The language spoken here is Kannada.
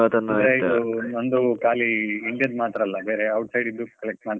ಅಂದ್ರೆ ಇದು ನಂದು ಖಾಲಿ India ದು ಮಾತ್ರಾ ಅಲ್ಲಾ, ಬೇರೆ outside ದು collect ಮಾಡ್ತೇನೆ.